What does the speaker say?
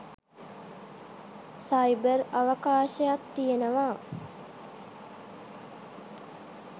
Cyber අවකාශත් තියෙනවා.